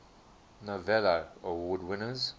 novello award winners